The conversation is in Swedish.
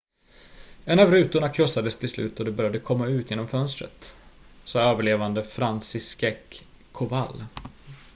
en av rutorna krossades till slut och de började komma ut genom fönstret sa överlevande franciszek kowal